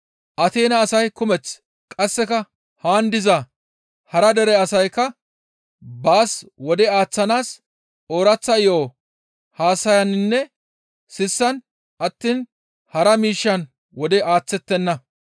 Ateena asay kumeth qasseka haan diza hara dere asaykka baas wode aaththanaas ooraththa yo7o haasayaninne sissan attiin hara miishshan wode aaththettenna.